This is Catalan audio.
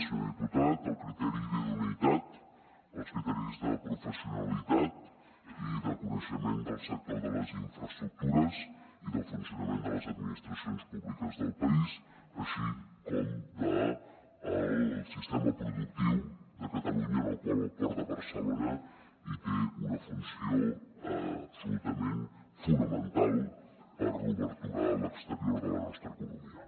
senyor diputat el criteri d’idoneïtat els criteris de professionalitat i de coneixement del sector de les infraestructures i del funcionament de les administracions públiques del país així com del sistema productiu de catalunya en el qual el port de barcelona hi té una funció absolutament fonamental per a l’obertura a l’exterior de la nostra economia